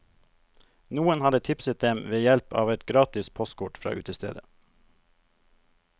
Noen hadde tipset dem ved hjelp av et gratis postkort fra utestedet.